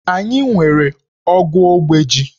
Anyị nwere ogu ogbe ji.